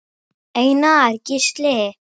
Einar Gísli.